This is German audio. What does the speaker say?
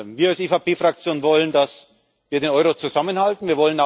Wir als EVP Fraktion wollen, dass wir den Euro zusammenhalten.